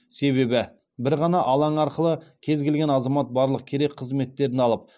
себебі бір ғана алаң арқылы кез келген азамат барлық керек қызметтерін алып